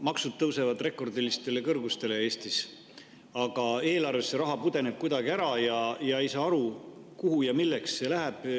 Maksud tõusevad Eestis rekordilistele kõrgustele, aga eelarves pudeneb see raha kuidagi ära ja ei saa aru, kuhu ja milleks see läheb.